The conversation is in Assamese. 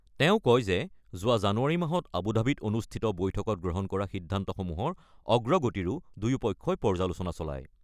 তেওঁ কয় যে যোৱা জানুৱাৰী মাজত আবুধাবিত অনুষ্ঠিত বৈঠকত গ্ৰহণ কৰা সিদ্ধান্তসমূহৰ অগ্ৰগতিৰো দুয়ো পক্ষই পৰ্যালোচনা চলায়।